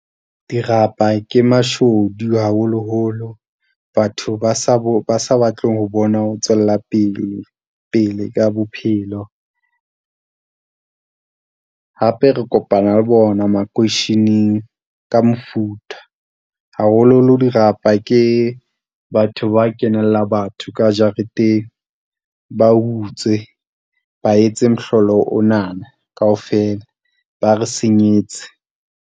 Dirapa ke mashodu haholoholo batho ba sa batleng ho bona. O tswella pele ka bophelo. Hape re kopana le bona makoisheneng ka mofuta, haholoholo dirapa ke batho ba kenela batho ka jareteng. Ba utswe, ba etse mohlolo onana kaofela, ba re senyetse.